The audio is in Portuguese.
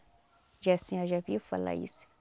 Já a senhora já ouviu falar isso?